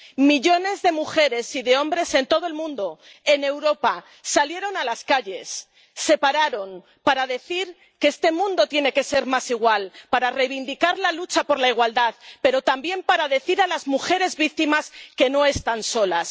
Millones de mujeres y de hombres en todo el mundo, en Europa, salieron a las calles, se pararon para decir que este mundo tiene que ser más igual, para reivindicar la lucha por la igualdad, pero también para decir a las mujeres víctimas que no están solas.